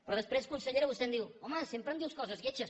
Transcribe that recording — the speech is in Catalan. però després consellera vostè em diu home sempre em dius coses lletges